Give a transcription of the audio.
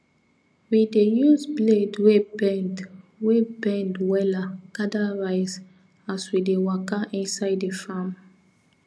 we dey use blade wey bend wey bend wella gather rice as we dey waka inside the farm